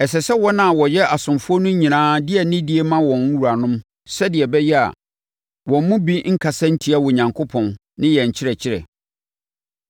Ɛsɛ sɛ wɔn a wɔyɛ asomfoɔ no nyinaa de anidie ma wɔn wuranom sɛdeɛ ɛbɛyɛ a wɔn mu bi nkasa ntia Onyankopɔn ne yɛn nkyerɛkyerɛ.